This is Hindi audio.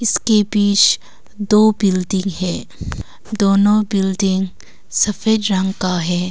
इसके बीच दो बिल्डिंग है दोनों बिल्डिंग सफेद रंग का है।